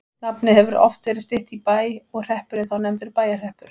Nafnið hefur oft verið stytt í Bæ og hreppurinn þá nefndur Bæjarhreppur.